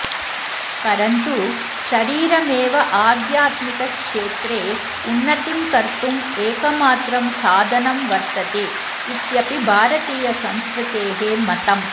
परन्तु शरीरमेव आध्यात्मिकक्षेत्रे उन्नतिं कर्तुम् एकमात्रं साधनं वर्तते इत्यपि भारतीयसंस्कृतेः मतम्